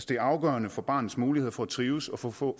det er afgørende for barnets muligheder for at trives og for at få